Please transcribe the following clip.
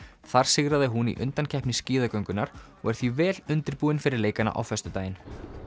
þar sigraði hún í undankeppni og er því vel undirbúin fyrir leikana á föstudaginn